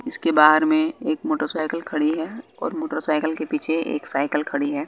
इसके बाहर में एक मोटरसाइकिल खड़ी है और मोटरसाइकिल के पीछे एक साइकिल खड़ी है।